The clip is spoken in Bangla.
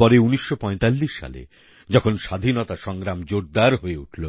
পরে ১৯৪৫ সালে যখন স্বাধীনতা সংগ্রাম জোরদার হয়ে উঠল